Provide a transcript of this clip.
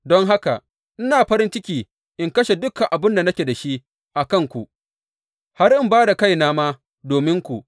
Don haka ina farin ciki in kashe dukan abin da nake da shi a kanku, har in ba da kaina ma dominku.